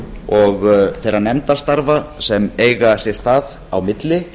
og þeirra nefndastarfa sem eiga sér stað á milli